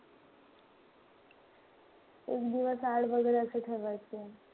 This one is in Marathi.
एक दिवस आड वगैरे असं ठरवायचे.